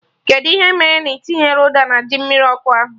Kedụ ihe mee na ị tinyerọ ụda na ji mmiri ọkụ ahụ?